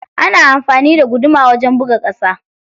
Ana anfani da guduma wajan buga kusa.